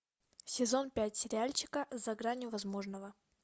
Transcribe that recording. сезон пять сериальчика за гранью возможного